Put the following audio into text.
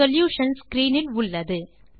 solution screen இல் உள்ளது